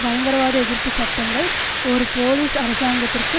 பயங்கரவாதஎதிர்ப்பு சட்டங்கள் ஒரு போலீஸ் அரசாங்கத்திற்கு